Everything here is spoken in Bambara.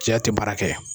Cɛya tɛ baara kɛ